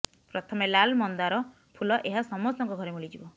ପ୍ରଥମେ ଲାଲ ମନ୍ଦାର ଫୁଲ ଏହା ସମସ୍ତଙ୍କ ଘରେ ମିଳିଯିବ